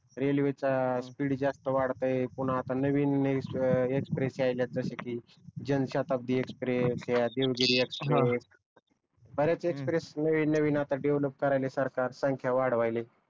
railway चा speed जास्त वाढत्य पुन्हा आता एक्ष्प्रेस यायल्यात जाश कि जनसाताब्दी एक्ष्प्रेस ह्या देवगिरी एक्सप्रेस बऱ्याच एक्ष्प्रेस नवीन नवीन आता डेव्हलप करायला आता सरकार संख्या वाढवायलय